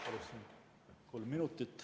Palun kolm minutit.